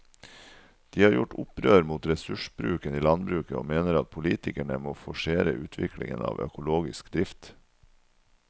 De har gjort opprør mot ressursbruken i landbruket og mener at politikerne må forsere utviklingen av økologisk drift.